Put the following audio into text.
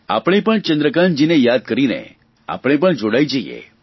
આપણે પણ ચંદ્રકાન્તજીને યાદ કરીને આપણે પણ જોડાઇ જઇએ